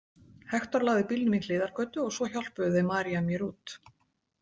Hektor lagði bílnum í hliðargötu og svo hjálpuðu þau María mér út.